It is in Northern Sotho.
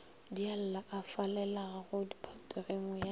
dialla a falalelago phuthegong ya